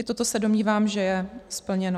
I toto se domnívám, že je splněno.